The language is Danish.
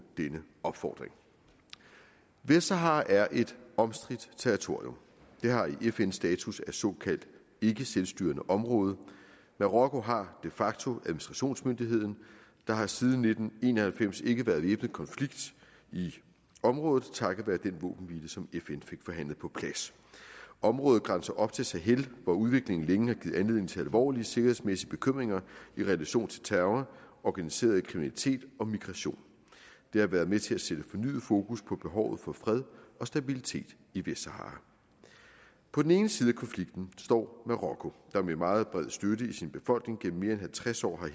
denne opfordring vestsahara er et omstridt territorium det har i fn status af såkaldt ikkeselvstyrende område marokko har de facto administrationsmyndigheden der har siden nitten en og halvfems ikke været væbnet konflikt i området takket være den våbenhvile som fn fik forhandlet på plads området grænser op til sahel hvor udviklingen længe har givet anledning til alvorlige sikkerhedsmæssige bekymringer i relation til terror organiseret kriminalitet og migration det har været med til at sætte fornyet fokus på behovet for fred og stabilitet i vestsahara på den ene side af konflikten står marokko der med meget bred støtte i sin befolkning gennem mere end halvtreds år